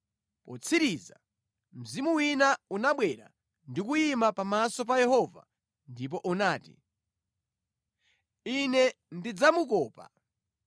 Potsirizira, mzimu wina unabwera ndi kuyima pamaso pa Yehova ndipo unati, ‘Ine ndidzamukopa.’ ”